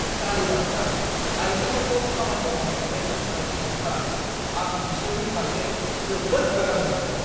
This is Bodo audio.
तालिबानफ्रा आयजोफोरखौ खामानि मावनायनिफ्राय होबथायनायखौ नुब्ला, आं बिसोरनि फारसे जोबोद रागा जोंदोंमोन।